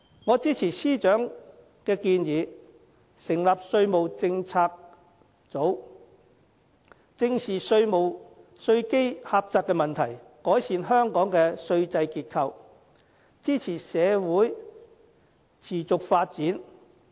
我支持司長的建議，成立稅務政策組，正視稅基狹窄問題，改善香港稅制結構，支持社會持續發展。